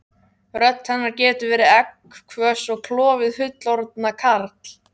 Rödd hennar getur verið egghvöss og klofið fullorðna karl